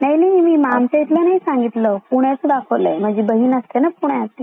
नाही नाही मी आमचा इथला नाही सांगितलं पुण्याचा दाखवला आहे माझी बहीन असते ना पुण्यात तिथल संगीतलये.